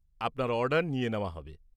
আপনার অর্ডার নিয়ে নেওয়া হবে।